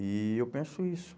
E eu penso isso.